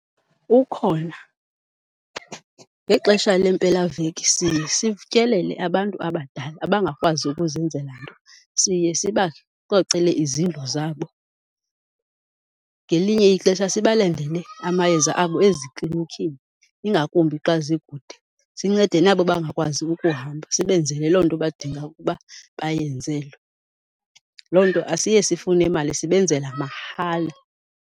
Ukhona, ngexesha lempelaveki siye sityelele abantu abadala abangakwazi ukuzenzela nto, siye sibacocele izindlu zabo. Ngelinye ixesha sibalandele amayeza abo eziklinikhini ingakumbi xa zikude. Sincede nabo bangakwazi ukuhamba sibenzele loo nto badinga ukuba bayenzelwe. Loo nto asiye sifune mali sibenzela mahala.